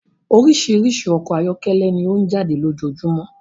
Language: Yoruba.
Orísirísi ọkọ ayọkẹlẹ ni ọ n jáde ní ojojúmọ́